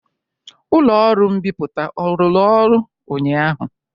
Ụlọ ọrụ mbipụta ọ rụrụ ọrụ ụnyaahụ?